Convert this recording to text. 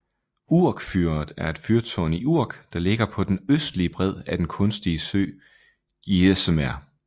Urk fyret er et fyrtårn i Urk der ligger på den østlige bred af den kunstige sø IJsselmeer